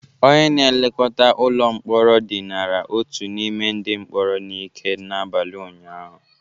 Onye na-elekọta ụlọ mkpọrọ dinara otu n'ime ndị mkpọrọ n'ike n'abalị ụnyaahụ